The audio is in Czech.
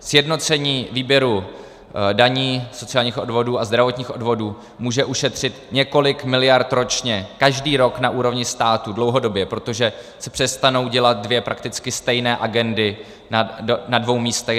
Sjednocení výběru daní, sociálních odvodů a zdravotních odvodů může ušetřit několik miliard ročně, každý rok na úrovni státu dlouhodobě, protože se přestanou dělat dvě prakticky stejné agendy na dvou místech.